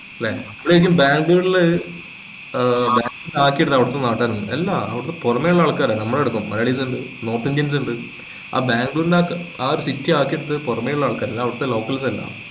ല്ലേ ശെരിക്ക്മ ബാംഗ്ലൂരില് ഏർ ആക്കിയെടുത്ത അവിടെത്തെ നാട്ടുകാര് അല്ല. അല്ലാ അവിടുത്തെ പുറമെ ഉള്ള ആൽക്കാരാ നമ്മളടക്കം malayalies ഇണ്ട് north indians ഇൻഡ് ആ ബാംഗ്ളൂരിനെ ആ ഒരു city ആക്കി എടുത്തത് പൊറമെ ഉള്ള ആൾക്കാരാ അല്ലാണ്ട് അവിടെത്തെ locals അല്ല